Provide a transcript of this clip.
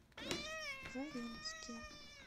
заринске